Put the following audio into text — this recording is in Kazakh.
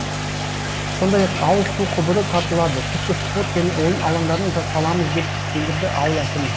сондай ақ ауыз су құбыры тартылады тіпті спорт және ойын алаңдарын да саламыз деп сендірді ауыл әкімі